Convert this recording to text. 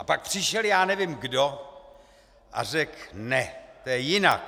A pak přišel já nevím kdo, a řekl: Ne, to je jinak.